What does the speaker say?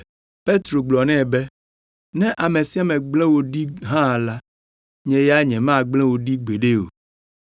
Petro gblɔ nɛ be, “Ne ame sia ame gblẽ wò ɖi hã la, nye ya nyemagblẽ wò ɖi gbeɖe o!”